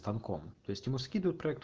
там ком то есть ему скидывают проект